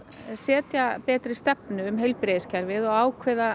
setja betri stefnu um heilbrigðiskerfið og ákveða